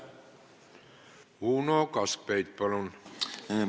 Uno Kaskpeit, palun!